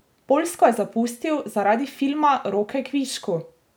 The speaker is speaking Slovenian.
Poljsko je zapustil zaradi filma Roke kvišku!